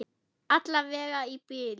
Alla vega í bili.